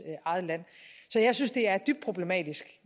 eget land så jeg synes det er dybt problematisk